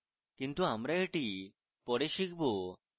কিন্তু আমরা এটি পরে শিখব